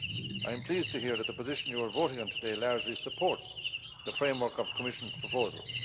I am pleased to hear that the position you are voting on today largely supports the framework of the Commission's proposal.